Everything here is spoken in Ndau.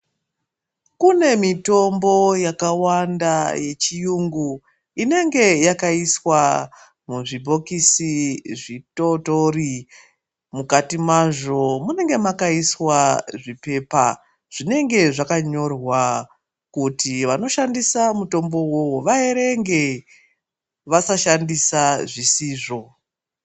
Kune mitombo yakawanda yechiyungu inenge yakaiswa muzvibhokisi zvitotori .Mukati mazvo munenge makaiswa zvipepa zvinonga zvakanyorwa kuti vanoshandisa mutombo yoyo vaerenge vasashandisa zvisizvo.